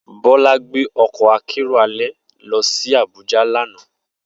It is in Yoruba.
Bola gbe ọkọ akero alẹ lọ si Abuja lana.